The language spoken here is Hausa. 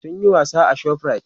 sun Yi wasa a shoprite